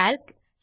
Calc